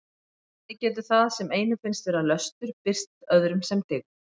Þannig getur það sem einum finnst vera löstur birst öðrum sem dyggð.